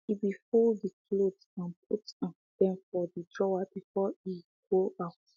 he be fold de clothes and put um dem inside de drawer before e um go um out